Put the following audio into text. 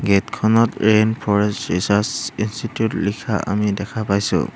Gate খনত rain forest research institute লিখা আমি দেখা পাইছোঁ।